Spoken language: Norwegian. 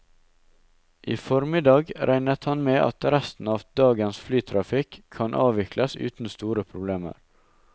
I formiddag regnet han med at resten av dagens flytrafikk kan avvikles uten store problemer.